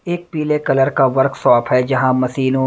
एक पीले कलर का वर्कशॉप है जहां मशीनों --